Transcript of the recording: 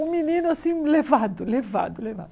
Um menino assim, levado, levado, levado.